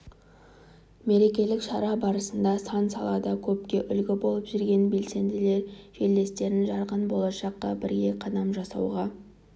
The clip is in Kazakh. мерекелік шара барысында сан салада көпке үлгі болып жүрген белсенділер жерлестерін жарқын болашаққа бірге қадам жасауға